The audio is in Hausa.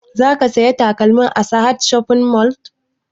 Za ka saya takalmin a sahad shopping mall?